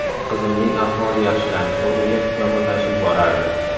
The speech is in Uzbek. Qizimning ahvoli yaxshilanish o‘rniga yomonlashib borardi.